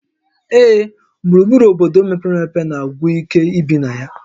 Ee, gburugburu obodo mepere emepe na-agwụ ike ibi na ya